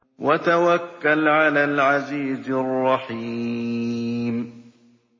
وَتَوَكَّلْ عَلَى الْعَزِيزِ الرَّحِيمِ